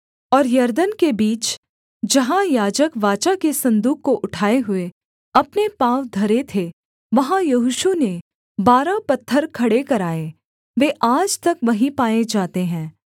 और यरदन के बीच जहाँ याजक वाचा के सन्दूक को उठाए हुए अपने पाँव धरे थे वहाँ यहोशू ने बारह पत्थर खड़े कराए वे आज तक वहीं पाए जाते हैं